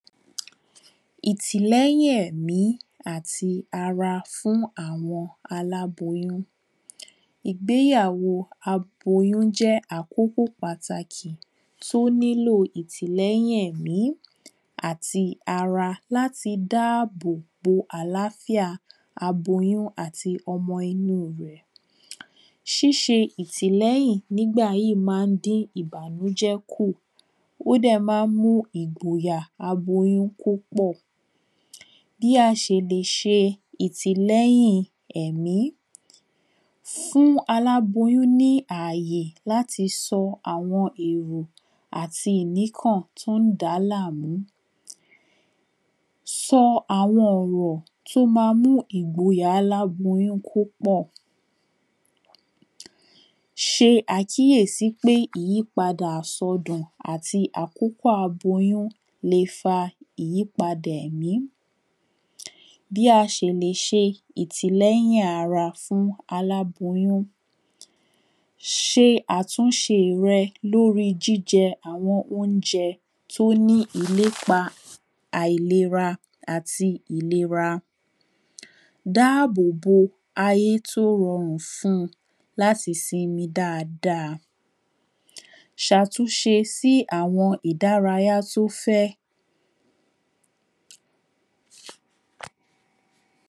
ìtìlẹ́yìn ẹ̀mí àti ara fún àwọn aláboyún ìgbéyàwó aboyún jẹ́ àkókò pàtàkì tó nílò ìtìlẹ́yìn ẹ̀mí àti ara láti dáàbò bo àláfíà aboyún àti ọmọ inú un rẹ̀ ṣíṣe ìtìlẹ́yìn nígbà yí máa ń dín ìbànújẹ́ kù ó dẹ̀ máa ń mú ìgboyà aboyún kó pọ̀ bí a ṣe lè ṣe ìtìlẹ́yìn ẹ̀mí fún aláboyún ní ààyè láti sọ àwọn èrò àti ìníkàn tó ń dàá láàmú sọ àwọn ọ̀rọ̀ tó máa mú ìgboyà aláboyún kó pọ̀ ṣe àkíyèsí pé ìyípadà àsọdùn àti àkókò aboyún le fa ìyípadà ẹ̀mí bí a ṣe lè ṣe ìtìlẹ́yìn ara fún aláboyún ṣe àtúnṣe rẹ lórí jíjẹ àwọn oúnjẹ tó ní ìlépa àìlera àti ìlera dá ààbò bo ayé tó rọrùn fún un láti sinmi dáadáa ṣàtúnṣe sí àwọn ìdárayá tó fẹ́